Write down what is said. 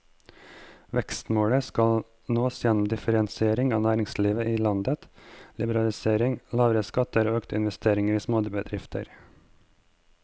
Vekstmålet skal nås gjennom differensiering av næringslivet i landet, liberalisering, lavere skatter og økte investeringer i småbedrifter.